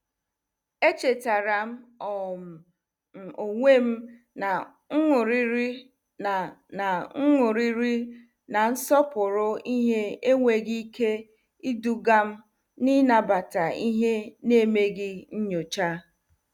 Echetaram um m onwem na nṅụrịri na na nṅụrịri na nsọpụrụ ihe enweghị ike idugam n'inabata ihe n'emeghị nyocha.